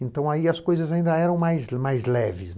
Então, aí as coisas ainda eram mais mais leves.